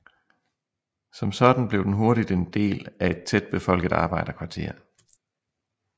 Som sådan blev den hurtigt en del af et tæt befolket arbejderkvarter